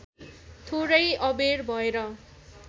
थोरै अबेर भएर